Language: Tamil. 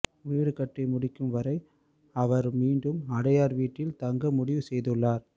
வீடுகட்டி முடிக்கும் வரை அவர் மீண்டும் அடையாறு வீட்டில் தங்க முடிவு செய்துள்ளார்